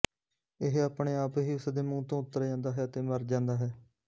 ਇਹ ਆਪਣੇ ਆਪ ਹੀ ਉਸਦੇ ਮੂੰਹ ਤੋਂ ਉਤਰ ਜਾਂਦਾ ਹੈ ਅਤੇ ਮਰ ਜਾਂਦਾ ਹੈ